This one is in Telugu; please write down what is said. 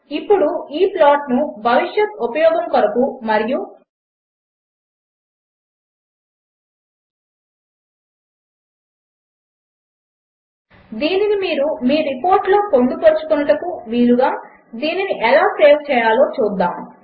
ఇప్పుడు ఈ ప్లాట్ను భవిష్యత్ ఉపయోగము కొరకు మరియు దీనిని మీరు మీ రిపోర్ట్లలో పొందుపరచుకొనుటకు వీలుగా దీనిని ఎలా సేవ్ చేయాలో చూద్దాము